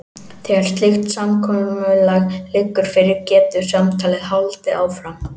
Þegar slíkt samkomulag liggur fyrir getur samtalið haldið áfram.